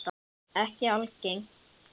Ekki algeng.